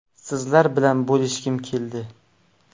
Sizlar bilan bo‘lishgim keldi”.